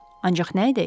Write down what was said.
Ancaq nə edək?